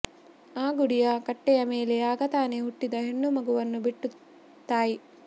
ಆ ಗುಡಿಯ ಕಟ್ಟೆಯ ಮೇಲೆ ಆಗ ತಾನೆ ಹುಟ್ಟಿದ ಹೆಣ್ಣು ಮಗುವನ್ನು ಬಿಟ್ಟು ತಾಯಿ